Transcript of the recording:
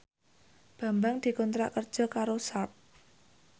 Bambang dikontrak kerja karo Sharp